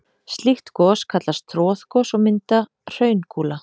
Slík gos kallast troðgos og mynda hraungúla.